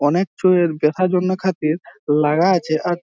অনেক চুইয়ের দেখা জন্য খাতির লাগা আছে আর।